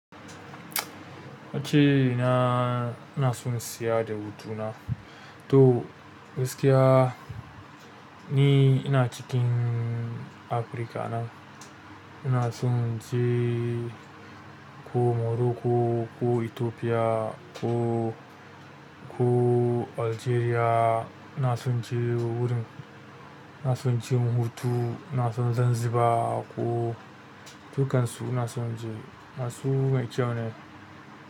Wace na, ina so in siya da hutuna. To gaskiya ni ina cikin Afrika nan. Ina so in je ko Morocco ko Ethiopia ko, ko Algeria. Ina so in je wurin, ina so in je in hutu. Ina so Zanzibar ko dukansu ina so in je. Na so mai kyau ne.